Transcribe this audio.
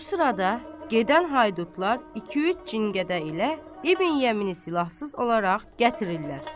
Bu sırada gedən haydutlar iki-üç cində qədə ilə İbn Yəmini silahsız olaraq gətirirlər.